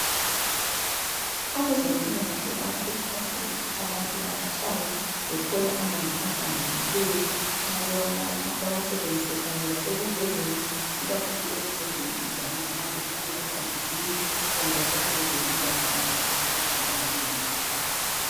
Abezempilakahle bayakhuthaza ukuthi abantu abahlale bethola amanzi ahlambulukileyo nxa bewanatha bewasebenzise kanye lasekugezeni ikakhulu ekugezeni izandla nxa bephuma ezambuzini kanye lasekugezeni izandla nxa besidla ukuze bengabi lomkhuhlane.